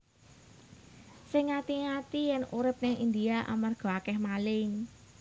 Sing ngati ngati yen urip ning India amarga akeh maling